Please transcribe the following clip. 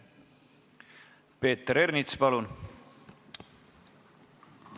Peeter Ernits, palun!